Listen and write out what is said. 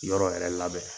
Yɔrɔ yɛrɛ labɛn